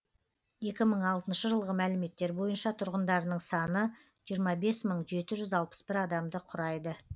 екі мың алтыншы жылғы мәліметтер бойынша тұрғындарының саны жиырма бес мың жеті жүз алпыс бір адамды құрайды